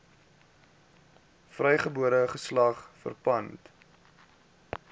vrygebore geslag verpand